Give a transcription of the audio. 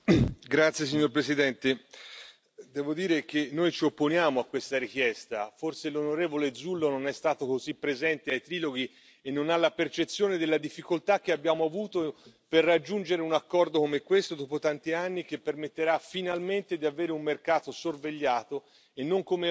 Signor Presidente, onorevoli colleghi, devo dire che noi ci opponiamo a questa richiesta, forse l'onorevole Zullo non è stato così presente ai triloghi e non ha la percezione della difficoltà che abbiamo avuto per raggiungere un accordo come questo dopo tanti anni, che permetterà finalmente di avere un mercato sorvegliato e non come oggi,